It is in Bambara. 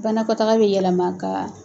Banakɔtaga bɛ yɛlɛma ka